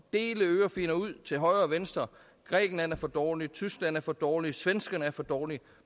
dele ørefigner ud til højre og venstre grækenland er for dårlig tyskland er for dårlig svenskerne er for dårlige